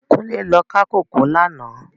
Kunle lò ká kókòó làná